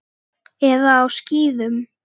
Eða á skíðum.